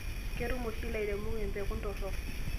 Ketum oshi lairemok mpekun torrok